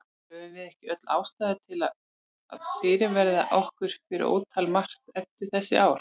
Höfum við ekki öll ástæðu til að fyrirverða okkur fyrir ótal margt eftir þessi ár?